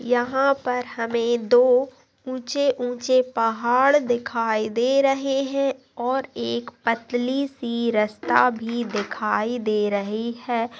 यहाँ पर हमें दो उछेउछे पहाड़ दिखाई दे रहे है और एक पतली सी रस्ता भी दिखाई दे रहे है